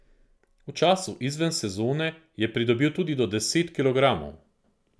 V času izven sezone je pridobil tudi do deset kilogramov.